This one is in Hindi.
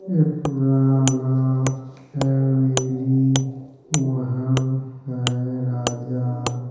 ये पुराना है रेली महल है राजा--